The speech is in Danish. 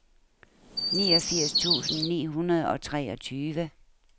niogfirs tusind ni hundrede og treogtyve